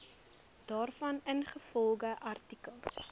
daarvan ingevolge artikel